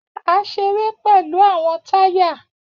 A ṣere pẹlu awọn taya